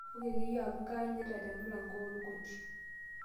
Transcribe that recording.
ouu ake iyie amuu kanyita te mlango ool koti